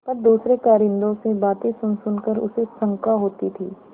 पर दूसरे कारिंदों से बातें सुनसुन कर उसे शंका होती थी